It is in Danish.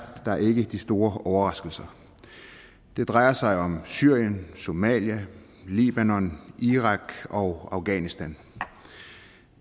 der ikke de store overraskelser at se det drejer sig om syrien somalia libanon irak og afghanistan